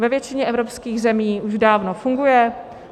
Ve většině evropských zemí už dávno funguje.